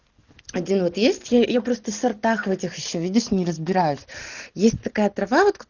один вот есть я просто сортах в этих ещё видишь не разбираюсь есть такая трава вот